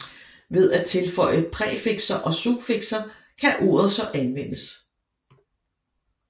Ved at tilføje præfikser og suffikser kan ordet så anvendes